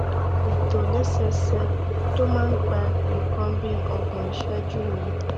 ìtòlẹsẹẹsẹ tó máa ń gba nǹkan bí ọgbọn ìṣẹjú ni